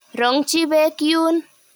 Rong'chi peek yuun.